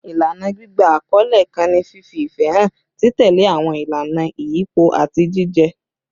Ilana gbigba akọle kan ni fifi ifẹ han, titẹle awọn ilana iyipo, ati jijẹ